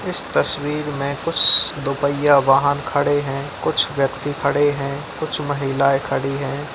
इस तस्वीर में कुछ दो पहिया वाहन खड़े हैं कुछ व्यक्ति खड़े हैं कुछ महिलाये खड़ी हैं ।